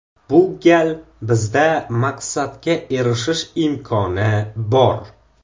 Bu gal bizda maqsadga erishish imkoni bor.